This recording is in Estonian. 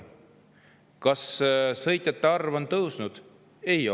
Kas sõitjate arv on tõusnud?